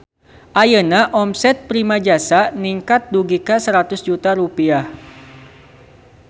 Ayeuna omset Primajasa ningkat dugi ka 100 juta rupiah